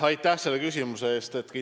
Aitäh selle küsimuse eest!